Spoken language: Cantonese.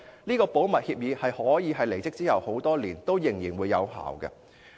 這項保密協議可以是她離職多年後仍然有效的。